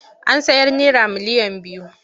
An sayar naira miliyan biyu.